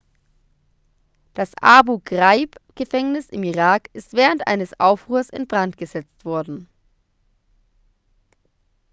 das abu-ghraib-gefängnis im irak ist während eines aufruhrs in brand gesetzt worden